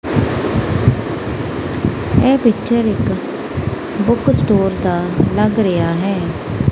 ਇਹ ਪਿਚਰ ਇੱਕ book store ਦਾ ਲੱਗ ਰਿਹਾ ਹੈ।